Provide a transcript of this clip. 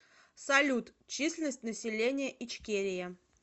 салют численность населения ичкерия